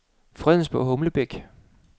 Fredensborg-Humlebæk